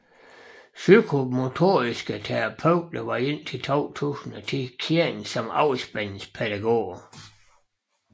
Psykomotoriske terapeuter var indtil 2010 kendt som afspændingspædagoger